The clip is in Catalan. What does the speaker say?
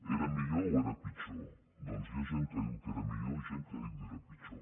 era millor o era pitjor doncs hi ha gent que diu que era millor i gent que diu que era pitjor